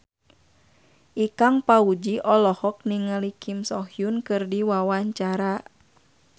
Ikang Fawzi olohok ningali Kim So Hyun keur diwawancara